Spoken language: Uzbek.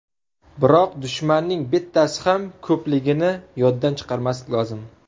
Biroq dushmanning bittasi ham ko‘pligini yoddan chiqarmaslik lozim.